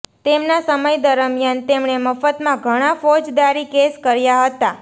તેમના સમય દરમિયાન તેમણે મફતમાં ઘણા ફોજદારી કેસ કર્યા હતા